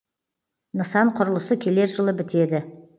нысан құрылысы келер жылы бітеді